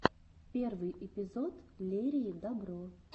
последний эпизод лерии добро